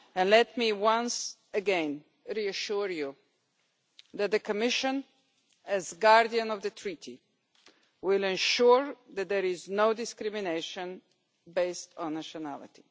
Let me once again reassure you that the Commission, as guardian of the Treaties, will ensure that there is no discrimination based on nationality.